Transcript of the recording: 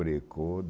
Brecou.